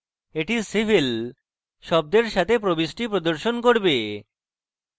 এটি civil শব্দের সাথে প্রবিষ্টি প্রদর্শন করবে